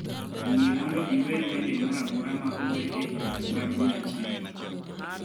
Yie mondo iwer wende moro amora ma ower e higni mag 100 ni